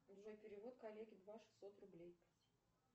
джой перевод коллеге два шестьсот рублей